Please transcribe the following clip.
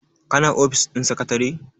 kana ofis ɗin sakatare?